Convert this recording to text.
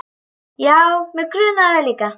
Já, mig grunaði það líka.